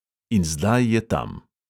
In zdaj je tam.